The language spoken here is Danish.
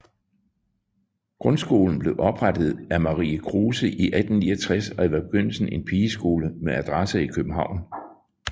Grundskolen blev oprettet af Marie Kruse i 1869 og var i begyndelsen en pigeskole med adresse i København